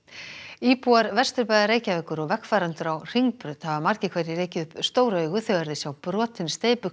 íbúar Vesturbæjar Reykjavíkur og vegfarendur á Hringbraut hafa margir hverjir rekið upp stór augu þegar þeir sjá brotinn